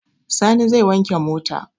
Sani zai wanke mota.